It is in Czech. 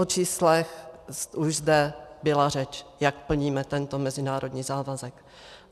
O číslech už zde byla řeč, jak plníme tento mezinárodní závazek.